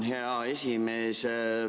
Tänan, hea esimees!